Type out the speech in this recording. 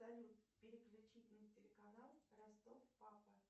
салют переключить на телеканал ростов папа